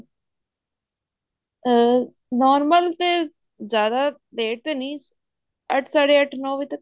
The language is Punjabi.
ਅਮ normal ਤੇ ਜਿਆਦਾ late ਨੀ ਅੱਠ ਸਾਢੇ ਅੱਠ ਵਜੇ ਨੋ ਤੱਕ